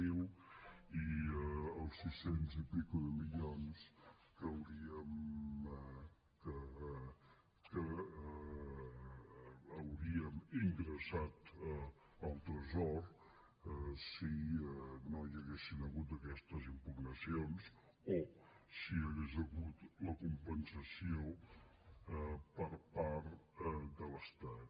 zero i els sis cents milions i escaig que hauríem ingressat al tresor si no hi haguessin hagut aquestes impugnacions o si hagués hagut la compensació per part de l’estat